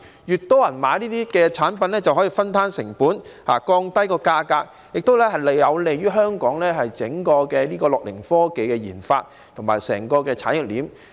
越多人購買這類產品，就可以分攤成本，降低價格，亦有利於香港樂齡科技的研發及整個產業鏈。